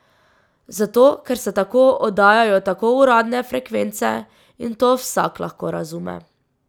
Zato ker se tako oddajajo tako uradne frekvence in to vsak lahko razume.